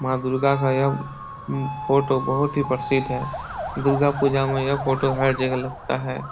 माँ दुर्गा का यह उम फोटो बहुत ही प्रसिद्ध है दुर्गा पूजा में यह फोटो हर जगह लगता है।